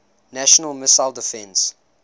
national missile defense